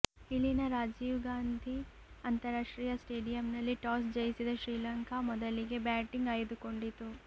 ಇಲ್ಲಿನ ರಾಜೀವ್ ಗಾಂಧಿ ಅಂತಾರಾಷ್ಟ್ರೀಯ ಸ್ಟೇಡಿಯಂನಲ್ಲಿ ಟಾಸ್ ಜಯಿಸಿದ ಶ್ರೀಲಂಕಾ ಮೊದಲಿಗೆ ಬ್ಯಾಟಿಂಗ್ ಆಯ್ದುಕೊಂಡಿತು